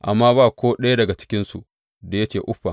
Amma ba ko ɗaya daga cikinsu da ya ce uffam.